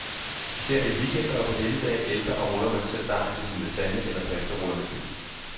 Især i weekender og på helligdage ælter og ruller man selv dejen til sin lasagne eller pastaruller med fyld.